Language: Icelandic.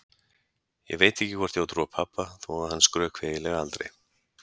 Ég veit ekki hvort ég á að trúa pabba þó að hann skrökvi eiginlega aldrei.